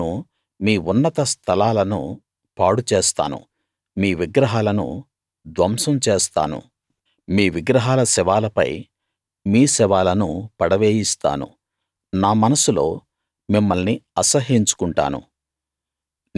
నేను మీ ఉన్నత స్థలాలను పాడు చేస్తాను మీ విగ్రహాలను ధ్వంసం చేస్తాను మీ విగ్రహాల శవాలపై మీ శవాలను పడవేయిస్తాను నా మనస్సులో మిమ్మల్ని అసహ్యించు కుంటాను